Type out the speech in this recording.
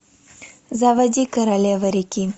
заводи королева реки